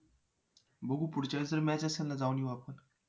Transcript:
बघू पुढच्या वेळेस जर match असेल ना जाऊन येऊ आपण